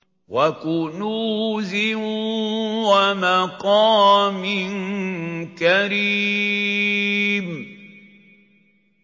وَكُنُوزٍ وَمَقَامٍ كَرِيمٍ